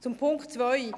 Zum Punkt 2: